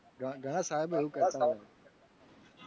ઘણા સાહેબો એવું કરતા હોય.